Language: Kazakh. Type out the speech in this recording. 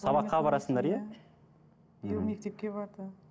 сабаққа барасыңдар иә биыл мектепке барды